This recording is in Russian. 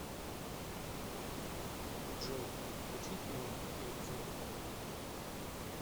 джой включи тюнинг и обзор автомобилей